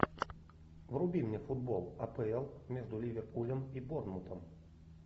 вруби мне футбол апл между ливерпулем и борнмутом